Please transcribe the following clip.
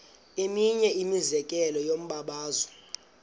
eminye imizekelo yombabazo